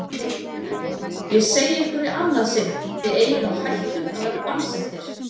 Ég segi ykkur í annað sinn: Þið eigið á hættu að verða bannsettir.